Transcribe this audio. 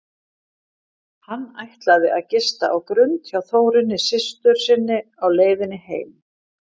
Hann ætlaði að gista á Grund hjá Þórunni systur sinni á leiðinni heim.